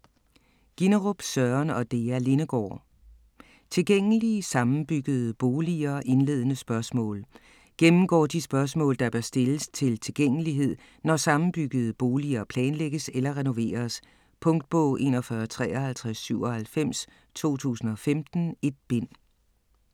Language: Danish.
Ginnerup, Søren og Dea Lindegaard: Tilgængelige sammenbyggede boliger - indledende spørgsmål Gennemgår de spørgsmål, der bør stilles til tilgængelighed, når sammenbyggede boliger planlægges eller renoveres. Punktbog 415397 2015. 1 bind.